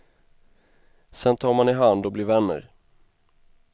Sen tar man i hand och blir vänner.